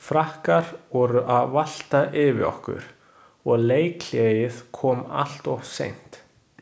Frakkar voru að valta yfir okkur og leikhléið kom alltof seint.